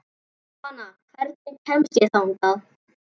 Jónanna, hvernig kemst ég þangað?